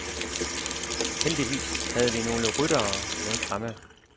Heldigvis havde vi nogle ryttere med fremme.